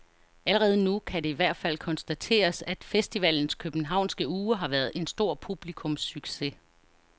Allerede nu kan det i hvert fald konstateres, at festivalens københavnske uge har været en stor publikumssucces.